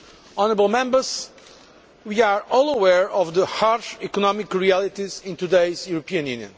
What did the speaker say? Honourable Members, we are all aware of the harsh economic realities in today's European Union.